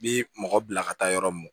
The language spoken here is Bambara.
I bi mɔgɔ bila ka taa yɔrɔ mun